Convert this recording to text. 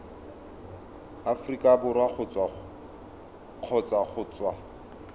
aforika borwa kgotsa go tswa